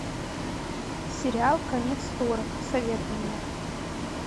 сериал конец стора посоветуй мне